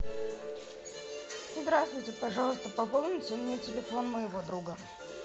здравствуйте пожалуйста пополните мне телефон моего друга